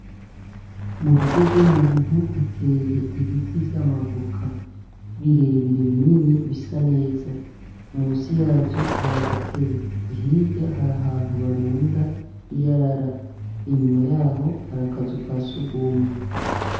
Murugo gw’umuntu hateye ibiti vy’amavoka, birebire binini bisa neza. Musi yavyo, har’agatebe, hirya harah’antu barunda iyarara , inyuma yaho har’akazu ka sugumwe.